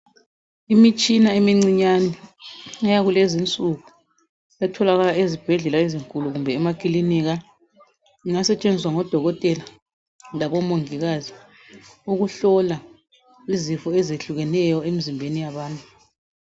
Imitshina emincinyane eyakulezinsuku etholakala ezibhedlela ezinkulu kumbe emakilinika ingasetshenziswa ngodokotela labomongikazi ukuhlola izifo ezehlukeneyo emzimbeni yabantu.